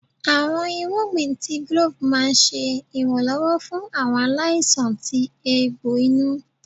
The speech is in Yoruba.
Awọn irugbin tí glove máà ń ṣe iranlọwọ fún awọn aláísàn tí eegbo inú.